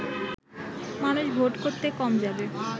মানুষ ভোট করতে কম যাবে